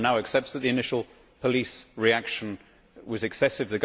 Everyone now accepts that the initial police reaction was excessive.